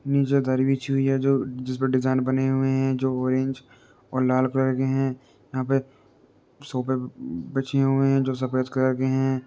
नीचे दरी बिछी हुई है जो जिसपे डिज़ाइन बने हुए हैं जो ऑरेंज और लाल कलर के हैं। यहाँ पे सोफे बिछे हुए हैं जो सफ़ेद कलर के हैं।